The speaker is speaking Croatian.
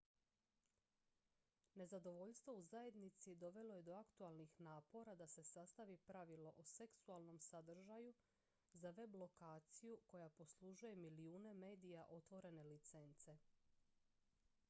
nezadovoljstvo u zajednici dovelo je do aktualnih napora da se sastavi pravilo o seksualnom sadržaju za web-lokaciju koja poslužuje milijune medija otvorene licence